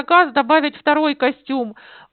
а как добавить второй костюм